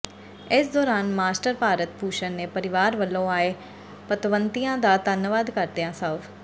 ਇਸ ਦੌਰਾਨ ਮਾਸਟਰ ਭਾਰਤ ਭੂਸ਼ਨ ਨੇ ਪਰਿਵਾਰ ਵੱਲੋਂ ਆਏ ਪਤਵੰਤਿਆਂ ਦਾ ਧੰਨਵਾਦ ਕਰਦਿਆਂ ਸਵ